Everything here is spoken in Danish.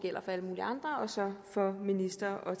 minister og